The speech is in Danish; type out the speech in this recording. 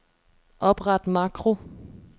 Opret makro.